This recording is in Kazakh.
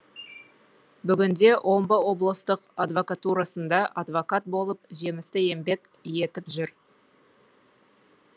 бүгінде омбы облыстық адвокатурасында адвокат болып жемісті еңбек етіп жүр